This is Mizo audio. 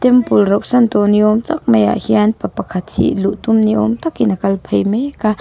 temple rauh san tawh niawm tak maiah hian pa pakhat hi luh tum niawm takin a kal phei mek a--